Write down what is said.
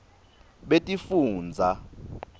betifundza